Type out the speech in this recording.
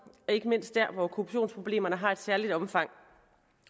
ikke mindst der hvor korruptionsproblemerne har et særligt omfang